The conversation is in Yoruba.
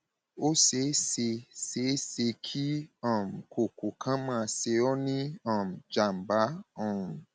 ó ṣe é ṣe é ṣe kí um kókó kan máa ṣe ọ ní um jàmbá um